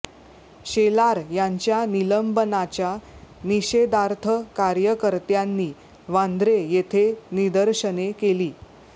शेलार यांच्या निलंबनाच्या निषेधार्थ कार्यकर्त्यांनी वांद्रे येथे निदर्शने केली